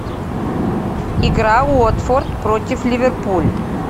игра уотфорд против ливерпуль